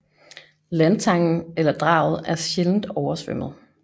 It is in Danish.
Landtangen eller draget er sjældent oversvømmet